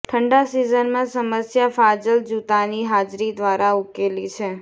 ઠંડા સિઝનમાં સમસ્યા ફાજલ જૂતાની હાજરી દ્વારા ઉકેલી છે